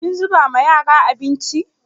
Kin zuba ma yara abinci?